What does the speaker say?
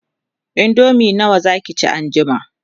indomie nawa Zaki ci an jima?